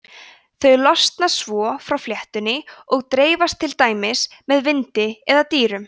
þau losna svo frá fléttunni og dreifast til dæmis með vindi eða dýrum